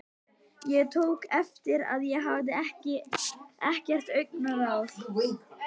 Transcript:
Ég tók eftir að ég hafði ekkert augnaráð.